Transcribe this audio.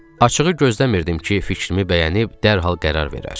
Açığı gözləmirdim ki, fikrimi bəyənib dərhal qərar verər.